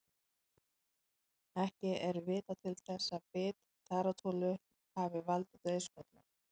Ekki er vitað til þess að bit tarantúlu hafi valdið dauðsföllum.